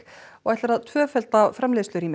og ætlar að tvöfalda